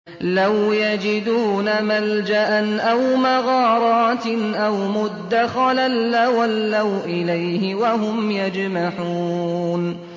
لَوْ يَجِدُونَ مَلْجَأً أَوْ مَغَارَاتٍ أَوْ مُدَّخَلًا لَّوَلَّوْا إِلَيْهِ وَهُمْ يَجْمَحُونَ